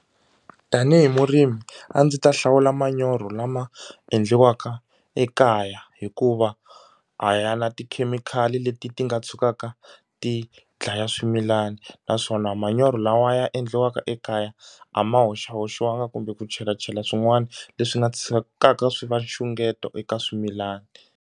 Tanihi murimi a ndzi ta hlawula manyoro lama endliwaka ekaya hikuva a ya na tikhemikhali leti ti nga tshukaka ti dlaya swimilana naswona manyoro lawa ya endliwaka ekaya a ma hoxahoxiwangi kumbe ku chelachela swin'wana leswi nga tshikaka swi va nxungeto eka swimilana.